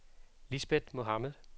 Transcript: Lisbeth Mohamed